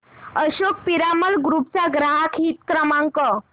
Ashok Piramal group चा ग्राहक हित क्रमांक